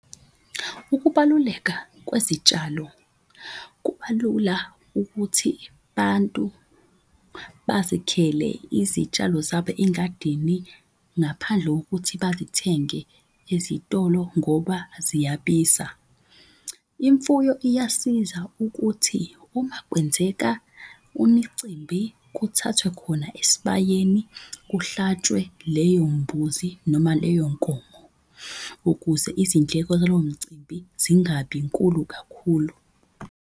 Ukubaluleka kwezitshalo kubalula ukuthi bantu bazikhele izitshalo zabo engadini ngaphandle kokuthi bazithenge ezitolo ngoba ziyabiza. Imfuyo iyasiza ukuthi uma kwenzeka umicimbi kuthathwe khona esibayeni kuhlatshwe leyo mbuzi, noma leyo nkomo ukuze izindleko zalowo mcimbi zingabi nkulu kakhulu.